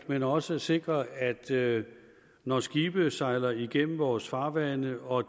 men også sikre at der ikke når skibe sejler igennem vores farvande og